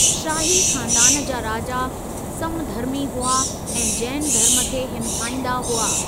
शाही खानदान जा राजा समधर्मी हुआ ऐं जैन धर्म खे हिमथाईंदा हुआ।